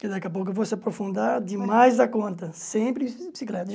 Daqui a pouco eu vou se aprofundar demais da conta, sempre bicicleta.